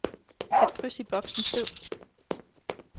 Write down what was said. Sæt kryds i boksen fed.